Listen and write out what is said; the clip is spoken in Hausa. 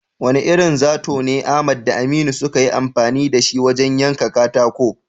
Wane irin zato ne Ahmad da Aminu suka yi amfani da shi wajen yanka katako?